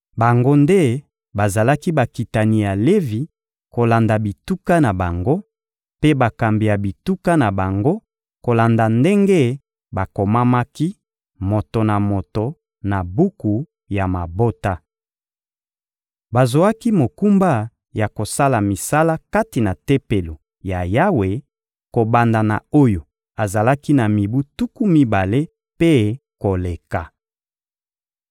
Bango nde bazalaki bakitani ya Levi kolanda bituka na bango, mpe bakambi ya bituka na bango kolanda ndenge bakomamaki, moto na moto, na buku ya mabota. Bazwaki mokumba ya kosala misala kati na Tempelo ya Yawe, kobanda na oyo azalaki na mibu tuku mibale mpe koleka.